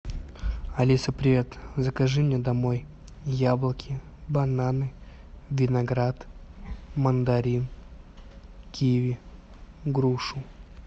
алиса привет закажи мне домой яблоки бананы виноград мандарин киви грушу